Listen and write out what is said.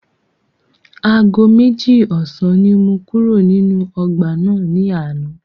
Aago méjì ọ̀sán ni mo kúrò nínú ọgbà náà ní àná.